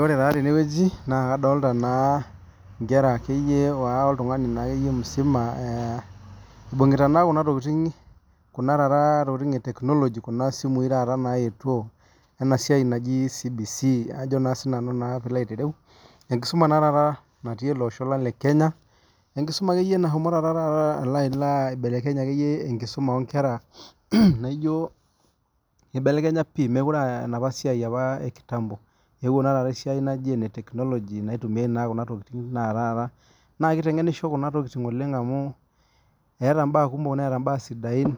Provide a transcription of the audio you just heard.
Ore taa tenewueji naa kadolita enkerai oltung'ani akeyie musima eibungita Kuna tokitin ee etekinoloji Kuna simui taata nayetuo ena siai najii CBC enkisuma naa taata natii elo Osho lang lee Kenya enkisuma nashomo akeyie taata alo aibelekenya enkisuma oo nkera eibelekenye pii mekure aa enapa siai ekitampo ewuo naa taata esiai najii ene tekinoloji naitumiai Kuna tokitin taata naa kitengenisho Kuna tokitin oleng amu etaa mbaa kumok netaa mbaa sidain